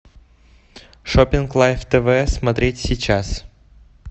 шопинг лайв тв смотреть сейчас